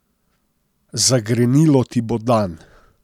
Zagrenilo ti bo dan.